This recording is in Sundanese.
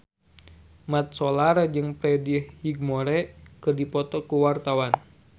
Mat Solar jeung Freddie Highmore keur dipoto ku wartawan